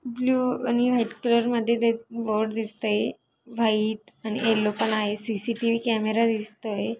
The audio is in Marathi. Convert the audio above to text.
ब्ल्यु आणि व्हाइट कलर मध्ये ते बोर्ड दिसतय व्हाइट आणि येल्लो पण आहे सी.सी.टी.व्ही कॅमेरा दिसतोय.